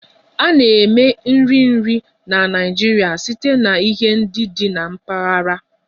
A na-eme nri nri na Naịjirịa site na ihe ndị dị na mpaghara